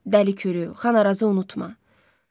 Dəli kürrümü, Xanırazı unutma.